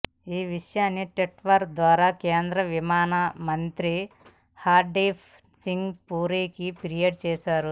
ఈ విషయాన్ని ట్విట్టర్ ద్వారా కేంద్ర విమానయాన మంత్రి హర్దీప్ సింగ్ పూరీకి ఫిర్యాదు చేశారు